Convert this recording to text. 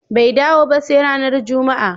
Bai dawo ba sai ranar Juma'a.